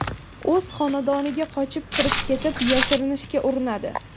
o‘z xonadoniga qochib kirib ketib, yashirinishga urinadi.